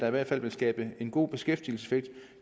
i hvert fald vil skabe en god beskæftigelseseffekt